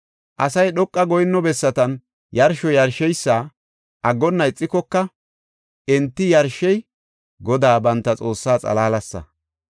Asay dhoqa goyinno bessatan yarsho yarsheysa aggonna ixikoka, enti yarshey Godaa banta Xoossaa xalaalasa.